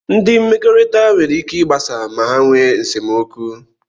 Ndị mmekọrịta nwere ike ịgbasa ma ha nwe nsemokwu.